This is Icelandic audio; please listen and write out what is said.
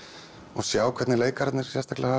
og sjá hvernig leikararnir sérstaklega hafa